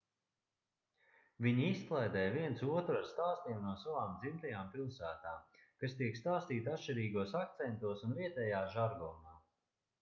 viņi izklaidē viens otru ar stāstiem no savām dzimtajām pilsētām kas tiek stāstīti atšķirīgos akcentos un vietējā žargonā